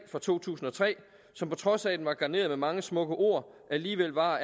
fra to tusind og tre som på trods af at den var garneret med mange smukke ord alligevel var